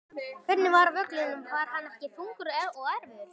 Hvernig var völlurinn var hann ekki þungur og erfiður?